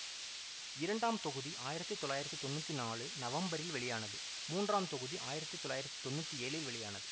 இரண்டாம் தொகுதி ஆயிரத்தி தொள்ளாயிரத்தி தொன்னூத்தி நான்கு நவம்பரில் வெளியானது மூன்றாம் தொகுதி ஆயிரத்தி தொள்ளாயிரத்தி தொன்னூத்தி ஏழில் வெளியானது